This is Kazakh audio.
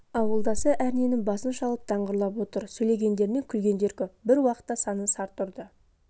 ауылдасы әрненің басын шалып даңғырлап отыр сөйлегендерінен күлгендер көп бір уақытта санын сарт ұрды